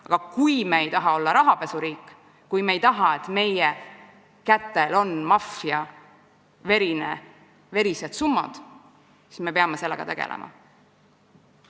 Aga kui me ei taha olla rahapesuriik, kui me ei taha, et meie kätel on maffia verised summad, siis me peame sellega tegelema.